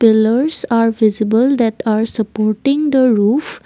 pillers are visible that are supporting the roof.